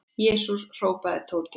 Jesús! hrópaði Tóti.